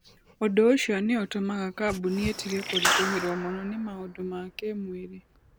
Ũndũ ũcio nĩ ũtũmaga kambuni ĩtige kũritũhĩrũo mũno nĩ maũndũ ma kĩĩmwĩrĩ.